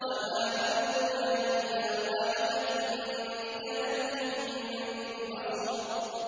وَمَا أَمْرُنَا إِلَّا وَاحِدَةٌ كَلَمْحٍ بِالْبَصَرِ